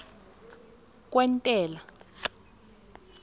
kwentela